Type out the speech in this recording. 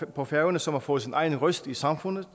på færøerne som har fået sin egen røst i samfundet